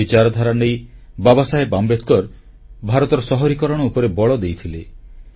ଏହି ବିଚାରଧାରା ନେଇ ବାବାସାହେବ ଆମ୍ବେଦକର ଭାରତର ସହରୀକରଣ ଉପରେ ବଳ ଦେଇଥିଲେ